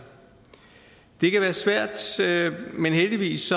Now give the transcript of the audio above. det kan være svært men heldigvis